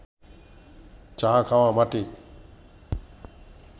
চা খাওয়া মাটি